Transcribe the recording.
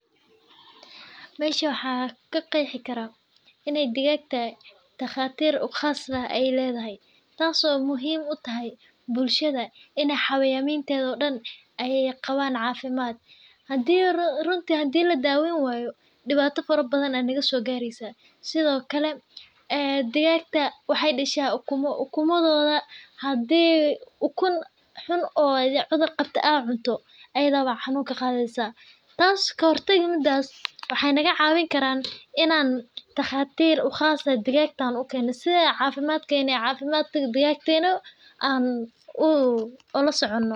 Mesha waxaa ka qexi karaa in ee digag tahay qas ah ee ledhahy tas oo muhiim utahay runti hadii ladaweyni wayo diwata fara badan aya naga sogareysa sithokale ee digagta waxee dasha ukun xun hadii ee cunto iyada aya cudhur ka qadhi kartaa si an ola socono cafimadka digagtena sas waye muhiimaada ee tan uficantahay bulshada dhexdeeda haa waxaa kaheli kartaa waxa halkan ka socda.